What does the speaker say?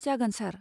जागोन सार।